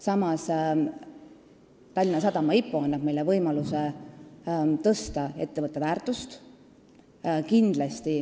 Samas annab Tallinna Sadama IPO meile võimaluse suurendada ettevõtte väärtust.